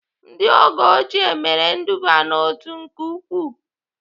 Ndị oge ochie mere nduba n'otu nke ukwuu